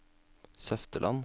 Søfteland